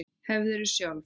Hefurðu sjálf.?